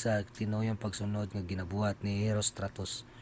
sa tinuyong pagsunod nga gibuhat ni herostratus